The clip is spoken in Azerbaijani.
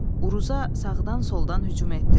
Uruza sağdan-soldan hücum etdilər.